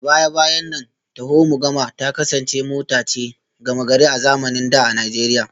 A baya-bayan nan taho-mu-gama ta kasance mota ce gama-gari a zamanin da a Najeriya